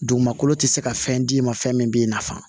Dugumakolo tɛ se ka fɛn d'i ma fɛn min b'i nafa